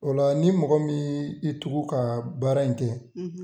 O la ni mɔgɔ min y'i tugu ka baara in kɛ